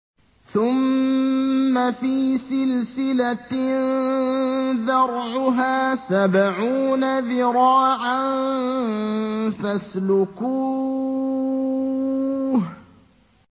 ثُمَّ فِي سِلْسِلَةٍ ذَرْعُهَا سَبْعُونَ ذِرَاعًا فَاسْلُكُوهُ